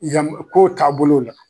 Iza kow taabolo la